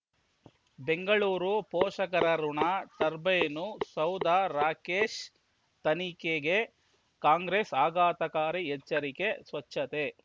ಬೆಂಗಳೂರು ಪೋಷಕರಋಣ ಟರ್ಬೈನು ಸೌಧ ರಾಕೇಶ್ ತನಿಖೆಗೆ ಕಾಂಗ್ರೆಸ್ ಆಘಾತಕಾರಿ ಎಚ್ಚರಿಕೆ ಸ್ವಚ್ಛತೆ